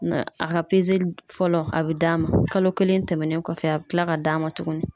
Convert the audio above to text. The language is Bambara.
Na a ka fɔlɔ a bɛ d'a ma kalo kelen tɛmɛnen kɔfɛ a bɛ kila ka d'a ma tuguni.